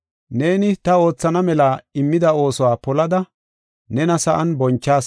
Neeni ta oothana mela immida oosuwa polada nena sa7an bonchas.